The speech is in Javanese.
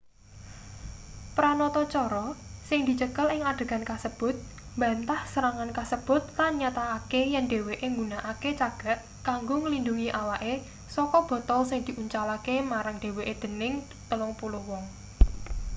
pranatacara sing dicekel ing adegan kasebut mbantah serangan kasebut lan nyatakake yen dheweke nggunakake cagak kanggo nglindhungi awake saka botol sing diuncalake marang dheweke dening telung puluh wong